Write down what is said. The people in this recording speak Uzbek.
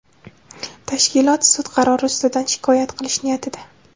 tashkilot sud qarori ustidan shikoyat qilish niyatida.